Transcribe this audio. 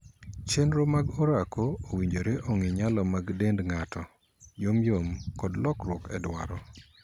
Chenro mag orako owinjore ong'ii nyalo mar dend ng'ato, yomyom, kod lokruok e dwaro.